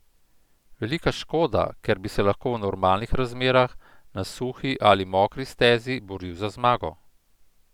Velika škoda, ker bi se lahko v normalnih razmerah, na suhi ali mokri stezi, boril za zmago.